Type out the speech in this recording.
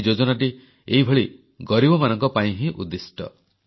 ଏଇ ଯୋଜନାଟି ଏଇଭଳି ଗରିବମାନଙ୍କ ପାଇଁ ହିଁ ଉଦ୍ଦିଷ୍ଟ